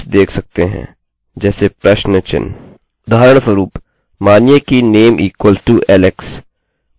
उदाहरणस्वरूप मानिए कि name equals to alex कुछ समान आपके ऐड्रेस बार में दिखाई दे सकता है